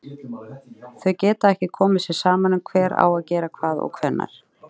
Þau geta ekki komið sér saman um hver á að gera hvað og hvenær.